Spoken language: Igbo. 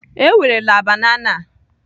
Ewerela banana a!